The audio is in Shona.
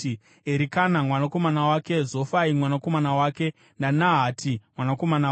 Erikana mwanakomana wake, Zofai mwanakomana wake, naNahati mwanakomana wake,